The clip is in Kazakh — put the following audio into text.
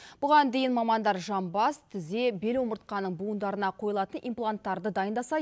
бұған дейін мамандар жамбас тізе бел омыртқаның буындарына қойылатын импланттарды дайындаса